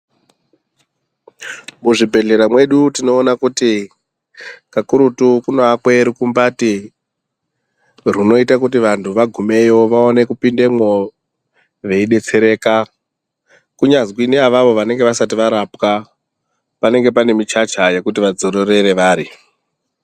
Muzvibhehlera mwedu, tinoona kuti kakurutu kunoakwe rukumbati, runoita kuti vanthu vagumeyo vaone kupindemwo veidetsereka. Kunyazwi neavavo vanenge vasati varapwa, panenge pane michacha yekuti vadzororere vari.